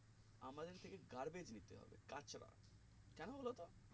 আমাদের থেকে garbage লিতে হবে কাঁচরা কেন বলতো